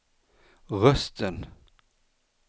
rösten